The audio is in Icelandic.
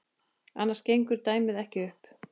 Annars gengur dæmið ekki upp.